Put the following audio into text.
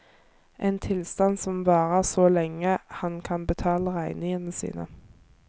En tilstand som varer så lenge han kan betale regningene sine.